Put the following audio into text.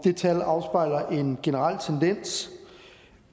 tal afspejler en generel tendens